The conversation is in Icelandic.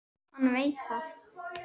Hann veit það.